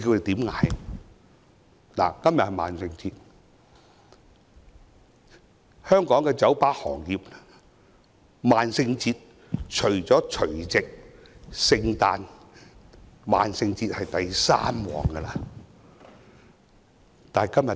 今天是萬聖節，對香港的酒吧行業來說，這天是除了除夕、聖誕節外，排第三的生意高峰日子。